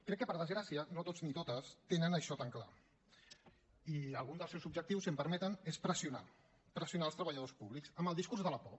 crec que per desgràcia no tots ni totes tenen això tan clar i algun dels seus objectius si em permeten és pressionar pressionar el treballadors públics amb el discurs de la por